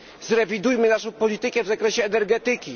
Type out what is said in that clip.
Zrewidujmy naszą politykę w zakresie energetyki!